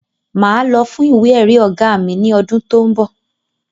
Máa lọ fún ìwé èrí ọ̀gá mi ni ọdún tó ń bọ̀